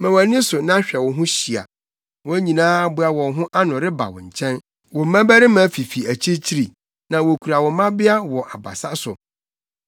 “Ma wʼani so na hwɛ wo ho hyia: wɔn nyinaa aboa wɔn ho ano reba wo nkyɛn; wo mmabarima fifi akyirikyiri, na wokura wo mmabea wɔ abasa so.